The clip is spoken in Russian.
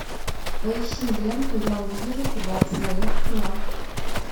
поищи ленту я увижу тебя в своих снах